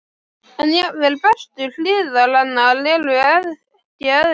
En jafnvel bestu hliðar hennar eru ekki eðlilegar.